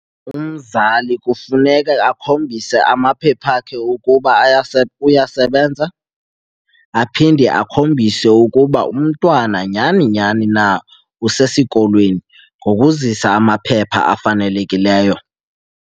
Umzali kufuneke akhombise amaphepha akhe ukuba uyasebenza, aphinde akhombise ukuba umntwana nyhani nyhani na usesikolweni ngokuzisa amaphepha afanelekileyo.